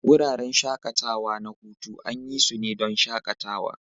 Wuraren shakatawa na hutu an yi su ne don shakatawa.